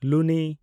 ᱞᱩᱱᱤ